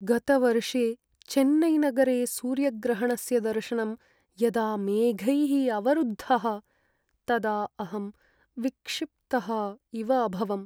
गतवर्षे चेन्नैनगरे सूर्यग्रहणस्य दर्शनं यदा मेघैः अवरुद्धः तदा अहं विक्षिप्तः इव अभवम्।